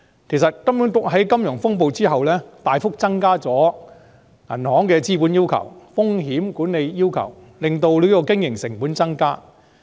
其實，金管局在金融風暴之後大幅增加了銀行的資本要求和風險管理要求，使銀行經營成本增加。